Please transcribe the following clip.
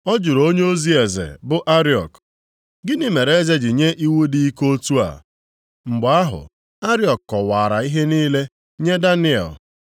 Ọ jụrụ onyeozi eze, bụ Ariok, “Gịnị mere eze ji nye iwu dị ike dị otu a?” Mgbe ahụ, Ariok kọwaara ihe niile nye Daniel.